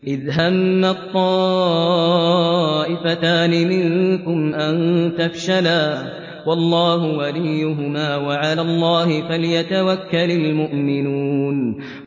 إِذْ هَمَّت طَّائِفَتَانِ مِنكُمْ أَن تَفْشَلَا وَاللَّهُ وَلِيُّهُمَا ۗ وَعَلَى اللَّهِ فَلْيَتَوَكَّلِ الْمُؤْمِنُونَ